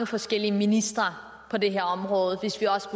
forskellige ministre på det her område hvis vi også